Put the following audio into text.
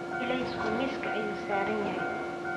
Ilaysku miiska ayuu saaran yahay.